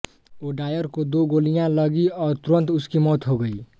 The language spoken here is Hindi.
ओडायर को दो गोलियां लगीं और तुरंत उसकी मौत हो गई